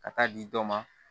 Ka taa di dɔ ma